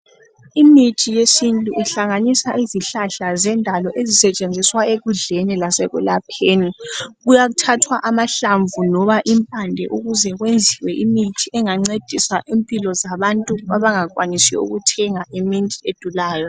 Imithi yesintu ihlanganisa izihlahla zendalo ezisetshenziswa ekudleni lasekulapheni . Kuyathathwa amahlamvu loba impande ukuze kwenziswe imithi engancedisa impilo zabantu abangakwanisiyo ukuthenga imithi edulayo .